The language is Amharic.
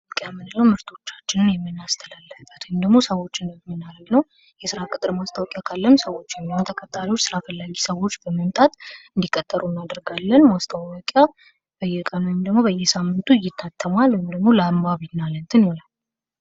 ምርቶቻችንን የምናስተላልፍበት ወይም ደግሞ ሰዎችንን የምናደርግበት ነው። የስራ ቅጥር ማስታወቂያ ካለም ሰዎች ወይም ተቀጣሪው ስራ ፈላጊ ሰዎች በመምጣት እንዲቀጥሉ እናደርጋለን። ማስታወቂያ በየቀኑ ለማሳየት ሳምንቱ ይታተማሉ ለአንባቢ ማለት ነው።